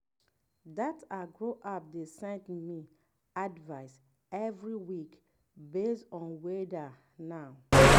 that agro app dey send me advice every week based on weather now.